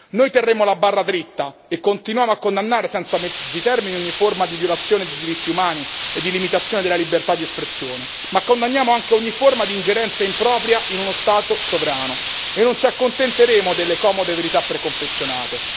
Noi terremo la barra dritta e continuiamo a condannare senza mezzi termini ogni forma di violazione dei diritti umani e di limitazione della libertà di espressione, ma condanniamo anche ogni forma di ingerenza impropria in uno Stato sovrano e non ci accontenteremo delle comode verità preconfezionate.